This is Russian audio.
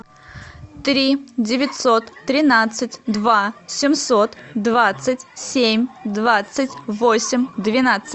три девятьсот тринадцать два семьсот двадцать семь двадцать восемь двенадцать